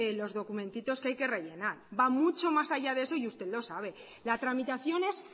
los documentitos que hay que rellenar va mucho más allá de eso y usted lo sabe la tramitación es